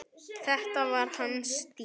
Þetta var hans stíll.